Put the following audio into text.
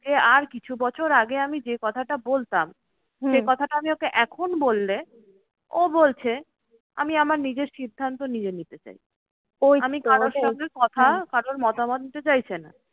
আর কিছু বছর আগে আমি যে কথাটা বলতাম, সে কথাটা আমি ওকে এখন বললে ও বলছে আমি আমার নিজের সিদ্ধান্ত নিজে নিতে চাই। আমি কারোর সঙ্গে কথা কারোর মতামত নিতে চাইছে না।